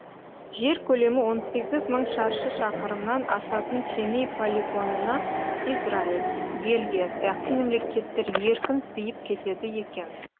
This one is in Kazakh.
жер көлемі он сегіз мың шаршы шақырымнан асатын семей полигонына израиль бельгия сияқты мемлекеттер еркін сиып кетеді екен